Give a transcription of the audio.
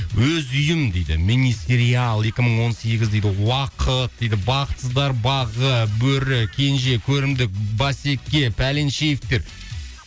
өз үйім дейді мини сериал екі мың он сегіз дейді уақыт дейді бақытсыздар бағы бөрі кенже көрімдік басеке пәленшеевтер